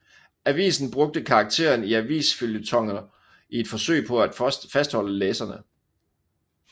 Avisen brugte karakteren i avisføljetoner i et forsøg på at fastholde læserne